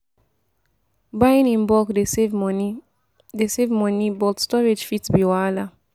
Buying in bulk dey save money, dey save money, but storage fit be wahala.